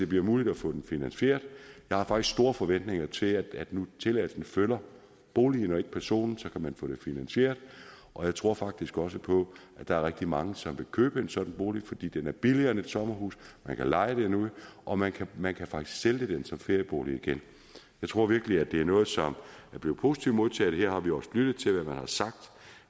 bliver muligt at få den finansieret jeg har faktisk store forventninger til at tilladelsen følger boligen og ikke personen så kan man få det finansieret og jeg tror faktisk også på at der er rigtig mange som vil købe en sådan bolig fordi den er billiger end et sommerhus man kan leje den ud og man kan man kan faktisk sælge den som feriebolig igen jeg tror virkelig det er noget som er blevet positivt modtaget her har vi også lyttet til hvad man har sagt